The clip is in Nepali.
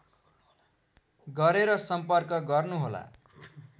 गरेर सम्पर्क गर्नु होला